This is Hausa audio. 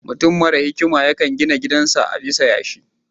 Mutum mara hikima yakan gina gidan sa a bisan yashi